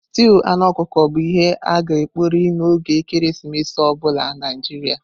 Stúu anụ ọkụkọ bu ihe a-ga ekpori n'oge ekeresimesi obula na Naijiria.